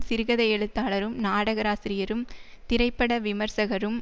சிறுகதை எழுத்தாளரும் நாடகாசிரியரும் திரைப்பட விமர்சகரும்